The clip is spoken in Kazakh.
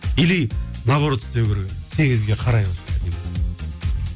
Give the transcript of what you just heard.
или наоборот істеу керек еді теңізге қарай